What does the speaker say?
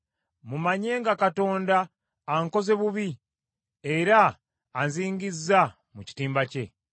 mumanye nga Katonda ankoze bubi era anzingizza mu kitimba kye.